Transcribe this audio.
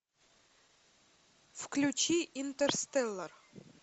включи интерстеллар